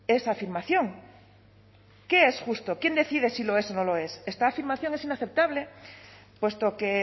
esa afirmación qué es justo quién decide si lo es o no lo es esta afirmación es inaceptable puesto que